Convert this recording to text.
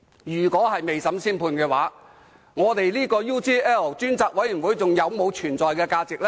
如果未審先判，調查 UGL 事件專責委員會還有存在價值嗎？